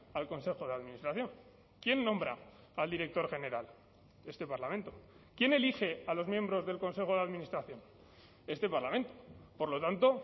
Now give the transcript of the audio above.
al consejo de administración quién nombra al director general este parlamento quién elige a los miembros del consejo de administración este parlamento por lo tanto